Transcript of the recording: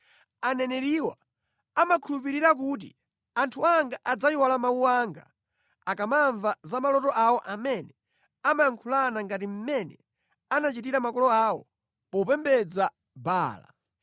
Aneneriwa amakhulupirira kuti anthu anga adzayiwala mawu anga akamamva za maloto awo amene amayankhulana ngati mmene anachitira makolo awo popembedza Baala.